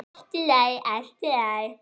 Allt í lagi, allt í lagi.